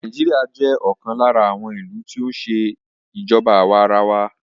Nàìjíríà jẹ́ ọ̀kan lára àwọn ìlú tí o ń ṣe ìjọba àwa arawa.